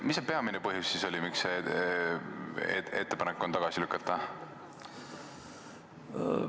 Mis oli peamine põhjus, miks on ettepanek tagasi lükata?